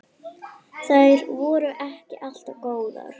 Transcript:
Þær voru ekki alltaf góðar.